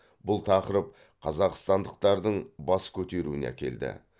бұл тақырып қазақстандықтардың бас көтеруіне әкелді